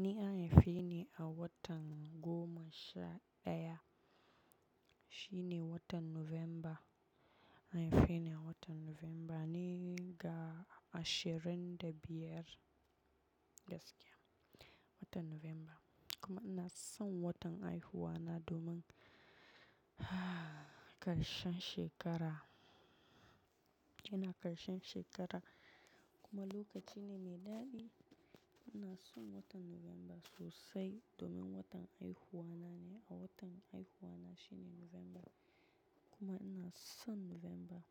Ni an haife ni a watan goma sha daya. Shi ne watan November. An haife ni a watan November ne ga ashirin da biyar gaskiya, watan November. Kuma ina son watan haihuwa na domin karshen shekara, yana karshen shekara kuma lokaci ne mai daɗi. Ina son watan November sosai domin watan haihuwa na ne a watan haihuwa na shine November. Kuma ina son November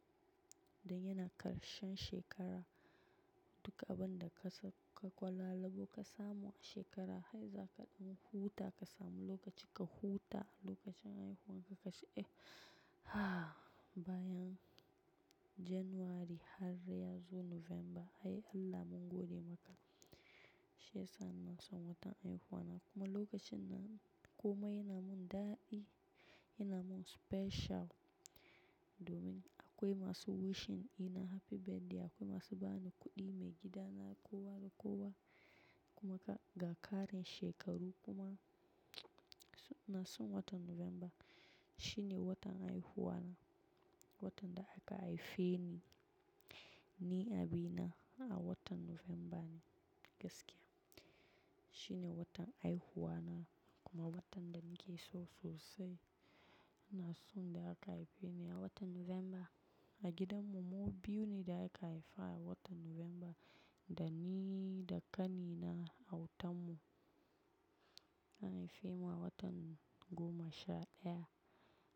don yana karshen shekara. Duk abin da ka sa ka kwalala ko ka samu a shekara, har za kaɗin huta ka samu lokaci ka huta lokacin haihuwan ka ka ce eh bayan January har ya zo November, ai Allah mun gode maka. Shi yasa ina son watan haihuwa na kuma lokacin na kuma yana mun daɗi, yana mun special domin akwai masu wishing ina happy birthday, akwai masu ba ni kuɗi, maigida na kowa da kowa kuma ga ƙarin shekaru kuma ina son watan November. Shi ne watan haihuwa na, watan da aka haife ni, ni abina a watan November ne gaskiya. Shi ne watan haihuwa na kuma watan da nake so sosai. Ina son da aka haife ni a watan November. A gidan mu, mu biyu ne da aka haifa a watan November, da ni da ƙani na a wutan mu. An haife mu a watan goma sha daya.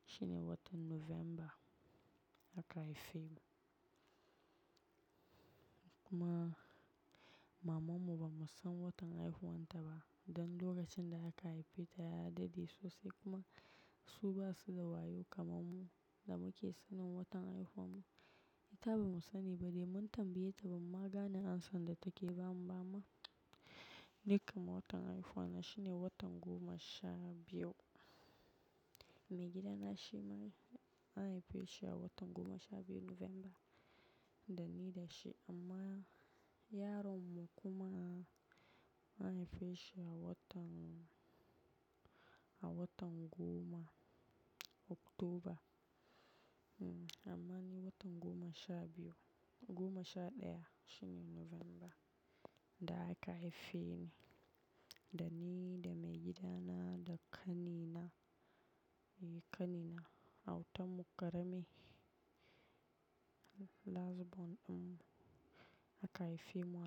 Shi ne watan November aka haife mu. Kuma maman mu bamu san watan haihuwan ta ba don lokacin da aka haife ta ya dade sosai kuma su basu da wayo kamar mu da muke sanin watan haihuwan mu. Ta bamu sani ba dai mun tambaye ta ba maganan an san da take ba mu ba ma. Nikam watan haihuwa na shi ne watan goma sha biyu. Maigida na shi ma an haife shi a watan goma sha biyu November, da ni da shi amma yaron mu kuma an haife shi a watan, a watan goma October. Amma ni watan goma sha biyu, goma sha daya shine November da aka haife ni, da ni da maigida na da ƙani na, ƙani na a wutan mu ƙarami. Last born ɗin mu aka haife mu.